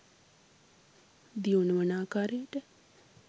දියුණු වන ආකාරයට